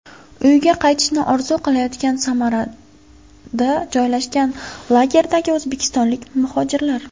Uyiga qaytishni orzu qilayotgan Samarada joylashgan lagerdagi o‘zbekistonlik muhojirlar.